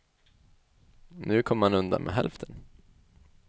Nu kommer man undan med hälften.